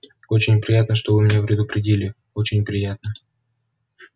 очень приятно что вы меня предупредили очень приятно